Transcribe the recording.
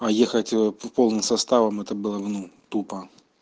а ехать полным составом это было бы ну тупо